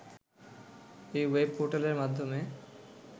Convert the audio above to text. এই ওয়েব পোর্টালের মাধ্যমে